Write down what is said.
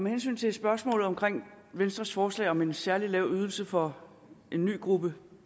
hensyn til spørgsmålet om venstres forslag om en særlig lav ydelse for en ny gruppe